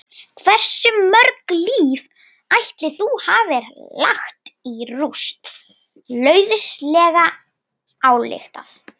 Hversu mörg líf ætli þú hafir lagt í rúst, lauslega ályktað?